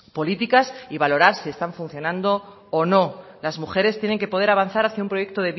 políticas y valorar si están funcionando o no las mujeres tienen que poder avanzar hacia un proyecto